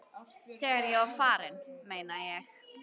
Þegar ég var farinn, meina ég.